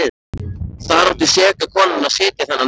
Þar átti seka konan að sitja þennan dag.